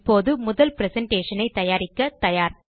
இப்போது முதல் பிரசன்டேஷன் ஐ தயாரிக்க தயார்